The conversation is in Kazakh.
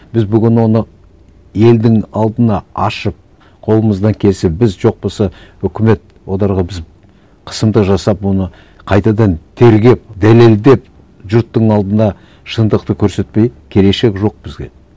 біз бүгін оны елдің алдына ашып қолымыздан кесіп біз жоқ болса үкімет оларға біз қысымды жасап оны қайтадан тергеп дәлелдеп жұрттың алдына шындықты көрсетпей келешек жоқ бізге